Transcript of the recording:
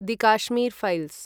the Kashmir files